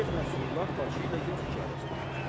Şeyx Nəsrullah başı ilə yox işarəsi deyir.